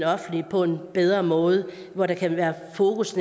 offentlige på en bedre måde hvor der kan være fokus